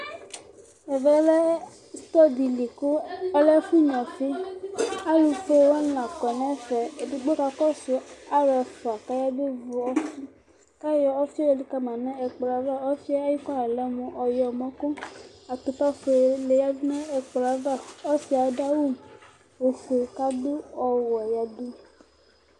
Ɛvɛ stɔr dɩ li kʋ ɔlɛ ɛfʋnyuǝ ɔfɩ Alʋbe wanɩ la kɔ nʋ ɛfɛ Edigbo kakɔsʋ alʋ ɛfʋa kʋ ayabevu ɔfɩ kʋ ayɔ ɔfɩ yɛ yǝdu ka ma nʋ ɛkplɔ yɛ ava Ɔfɩ yɛ ayʋ kɔla yɛ lɛ mʋ ɔyɔmɔ kʋ atʋpafuele yǝdu nʋ ɛkplɔ yɛ ava Ɔsɩ yɛ adʋ awʋ ofue kʋ adʋ ɔwɛ yǝdu